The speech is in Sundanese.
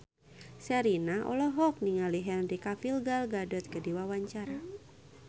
Sherina olohok ningali Henry Cavill Gal Gadot keur diwawancara